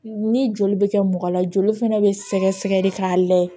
Ni joli bɛ kɛ mɔgɔ la joli fana bɛ sɛgɛsɛgɛ de k'a lajɛ